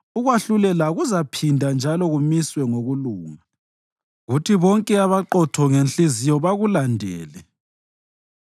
Ukwahlulela kuzaphinda njalo kumiswe ngokulunga, kuthi bonke abaqotho ngenhliziyo bakulandele.